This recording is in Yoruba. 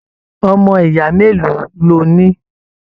Ọmọ ìyá mélòó lọ ní?